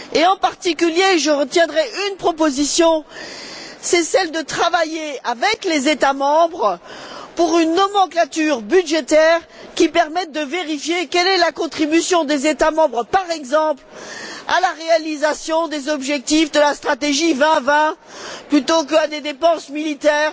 En particulier, je retiendrai une proposition, celle de travailler avec les États membres à une nomenclature budgétaire qui permette de vérifier quelle est la contribution des États membres, par exemple, à la réalisation des objectifs de la stratégie 2020 plutôt qu'à des dépenses militaires